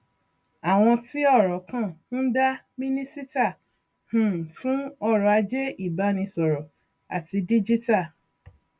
àwọn tí ọrọ kàn ń dá mínísítà um fún ọrọ ajé ìbánisọrọ àti dígítà